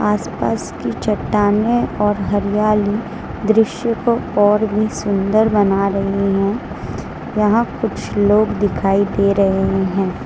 आसपास की चट्टानें और हरियाली दृश्य को और भी सुंदर बना रहे हैं यहां कुछ लोग दिखाई दे रहे हैं।